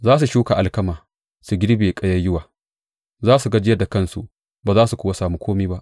Za su shuka alkama, su girbe ƙayayyuwa; za su gajiyar da kansu, ba za su kuwa sami kome ba.